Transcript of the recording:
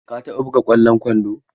Ka taɓa buga ƙwallon kwando?